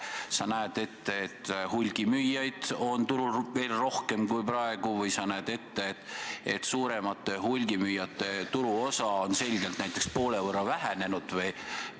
Kas sa näed ette, et hulgimüüjaid on turul rohkem kui praegu, või sa näed ette, et suuremate hulgimüüjate turuosa on selgelt, näiteks poole võrra vähenenud?